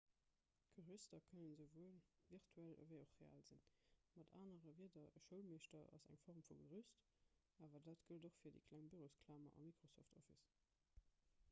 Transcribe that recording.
d'gerüster kënnen esouwuel virtuell ewéi och real sinn mat anere wierder e schoulmeeschter ass eng form vu gerüst awer dat gëllt och fir déi kleng bürosklamer a microsoft office